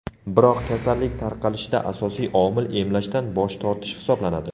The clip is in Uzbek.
Biroq kasallik tarqalishida asosiy omil emlashdan bosh tortish hisoblanadi.